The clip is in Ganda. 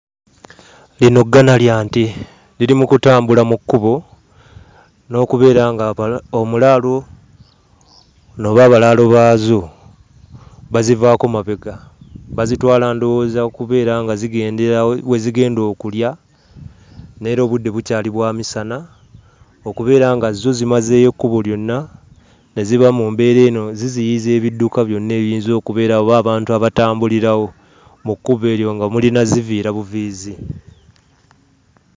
Lino ggana lya nte, liri mu kutambula mu kkubo n'okubeera ng'abala...omulaalo oba abalaalo baazo bazivaako mabega. Bazitwala ndowooza kubeera nga zigenda we zigenda okulya, naye era obudde bukyali bwa misana, okubeera nga zo zimazeeyo ekkubo lyonna ne ziba mu mbeera eno eziziyiza ebidduka byonna ebiyinza okubeera oba abantu abatambulirawo mu kkubo eryo nga mulina zziviira buviizi.